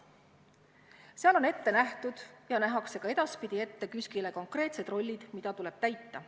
Seal on KÜSK-ile ette nähtud ja nähakse ka edaspidi ette konkreetsed rollid, mida tuleb täita.